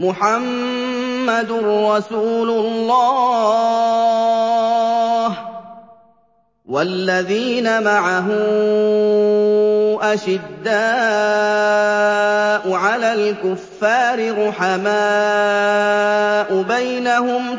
مُّحَمَّدٌ رَّسُولُ اللَّهِ ۚ وَالَّذِينَ مَعَهُ أَشِدَّاءُ عَلَى الْكُفَّارِ رُحَمَاءُ بَيْنَهُمْ ۖ